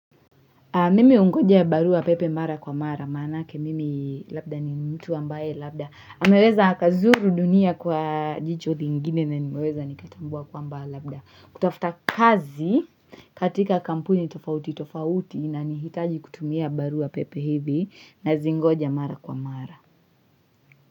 Mimi ungoja barua pepe mara kwa mara, manake mimi labda ni mtu ambae labda. Ameweza akazuru dunia kwa jicho dingine na nimeweza nikatambua kwamba labda. Kutafuta kazi katika kampuni tofauti tofauti inanihitaji kutumia barua pepe hivi na zingoja mara kwa mara.